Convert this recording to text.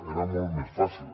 era molt més fàcil